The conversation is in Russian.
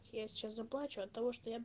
я сейчас заплачу от того что я